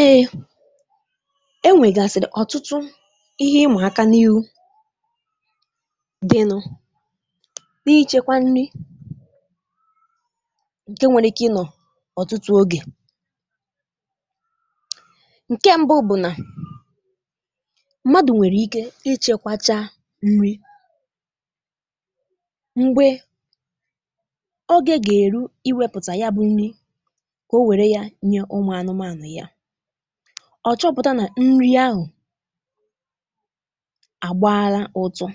Èèe, enwègàsị̀rị̀ ọ̀tụtụ ihe ịmà àkà n’ihu dịnụ n’ịchekwa nni ǹkè nwere ike ịnọ̀ ọ̀tụtụ ogè, ǹkè mbù bụ̀ nà mmadụ̀ nwèrè ike ịchekwàchá nni mgbe ogè gà-èru iwėpụ̀tà ya bụ̇ nni ka onwere ya yèe ụmụ̀ anụmȧnụ̀ ya, ọ̀ chọpụ̀tà nà nni ahụ̀ àgbaalà utu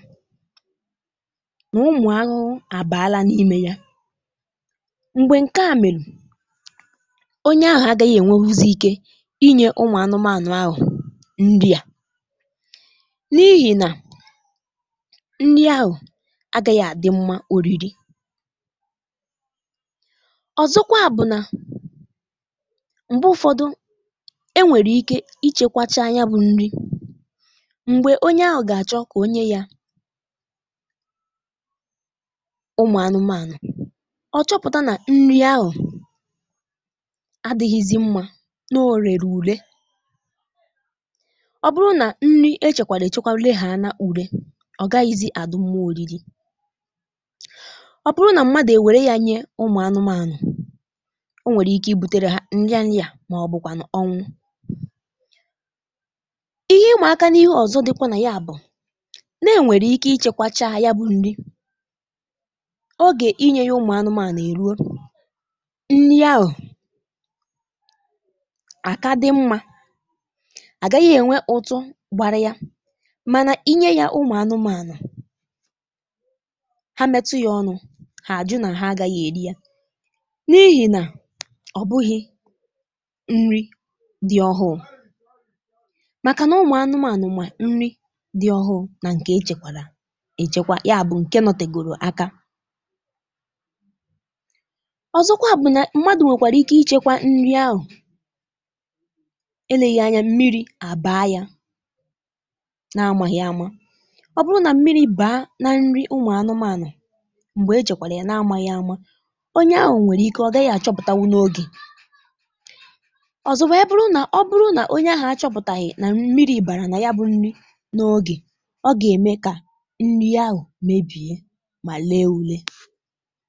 nà ụmụ̀ anụrụ àbàrà n’imė ya, m̀gbè ǹkè à mèrù, onye ahụ̀ agȧghị ènwerezị ike inyė ụmụ̀ anụmȧnụ̀ ahụ̀ nni à, n’ihì nà nni ahụ̀ agȧghị àdị mmà orìrì ọ̀zọkwa bụ̀ nà, mgbe ụfọdụ enwèrè ike ichėkwàchá ya bụ̇ nni m̀gbè onye ahụ̀ gà-àchọ kà onye yȧ ụmụ̀ anụmȧnụ̀, ọ̀ chọpụ̀tà nà nni ahụ̀ adị̇ghịzị mmȧ nà orè rù ùre, ọ bụrụ nà nni echèkwàlà èchekwa legha ànà ure ọ̀ gaghịzị adị mmà orìrì, ọ bụrụ nà mmadụ̀ ewèrè ya nyè ụmụ̀ anụmȧnụ̀ o nwèrè ike ibùtèrè ha nnià nnià màọbụ kwanụ ọnwụ, ihe imàkà nà ihe ọ̀zọ dịkwà nà ya bụ̀ nà-ènwèrè ike ichėkwàchá ya bụ̇ nni̇ ogè inye yȧ ụmụ̀ anụmȧnụ̀ èruo, nni ahụ àka dị mmȧ, àgaghị ènwe ụtụ gbàrà yȧ, mànà inye yȧ ụmụ̀ anụmȧnụ̀ hà mètụ yȧ ọnụ̇ hà àjụ nà hà àgaghị èri ya, n’ihì nà ọ̀bụghị̇ nni dị ọhụụ, màkà nà ụmụ̀ anụmȧnụ̀ mà nni dị ọhụụ̇ nà ǹkè echèkwà èchekwa ya bụ̀ ǹkè nọtègòrò àkà ọ̀zọkwa bụ̀ nà mmadụ̀ nwèkwàrà ike ichėkwà nni ahụ̀ èleghì anya mmirī̇ àbàrà ya nà àmàghị̇ àmà, ọ bụrụ nà mmirī̇ bàà nà nni ụmụ̀ anụmȧnụ̀ m̀gbè echèkwàrà ya nà àmàghị̇ àmà, onye ahụ̀ nwèrè ike ọ̀ gàhị àchọpụ̀tà wù n’ogè ọzọkwa ọ bụrụ nà ọ bụrụ nà onye ahụ̀ àchọ̇pụ̀tàghị̀ nà mmirī̇ bàrà nà ya bụ̇ nni n’ogè, ọ gà-ème kà nni ahụ̀ mèbìe mà lee ule.